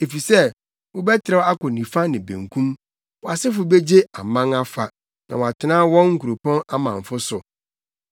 Efisɛ wobɛtrɛw akɔ nifa ne benkum; wʼasefo begye aman afa na wɔatena wɔn nkuropɔn amamfo so.